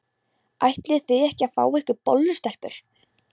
Ætlið þið ekki að fá ykkur bollu, stelpur?